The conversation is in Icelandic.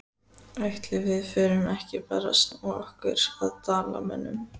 Ætli við förum ekki bara að snúa okkur að Dalamönnum?